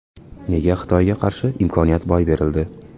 Nega Xitoyga qarshi imkoniyat boy berildi?